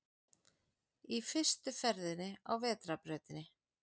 Í fyrstu ferðinni á vetrarbrautinni